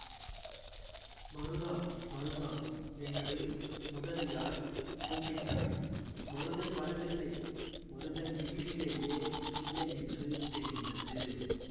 மருதா மருதா என்று முதலியார் கூப்பிட்டார் மருதன் வரவில்லை மருதன் வீட்டிலேயே இல்லையென்று தெரிந்தது